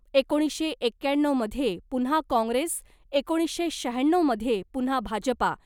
एकोणीसशे एक्क्याण्णवमध्ये पुन्हा काँग्रेस, एकोणीसशे शहाण्णवमध्ये पुन्हा भाजपा .